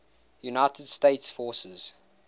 united states forces